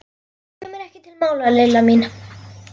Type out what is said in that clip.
Það kemur ekki til mála, Lilla mín.